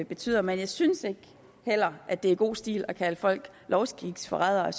betyder men jeg synes ikke heller at det er god stil at kalde folk lovskiksforrædere jeg